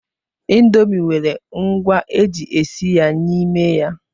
Indomi nwere ngwa eji esi ya n'ime ya.